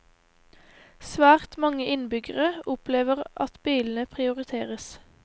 Svært mange innbyggere opplever at bilene prioriteres.